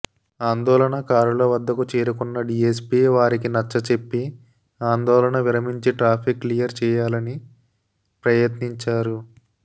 ఆందోళన కారుల వద్దకు చేరుకున్న డీఎస్పీ వారికి నచ్చచెప్పి ఆందోళన విరమించి ట్రాఫిక్ క్లియర్ చేయాలని ప్రయత్నించారు